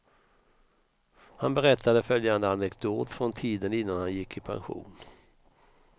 Han berättade följande anekdot från tiden innan han gick i pension.